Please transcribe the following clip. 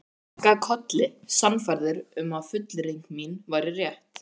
Ég kinkaði kolli, sannfærður um að fullyrðing mín væri rétt.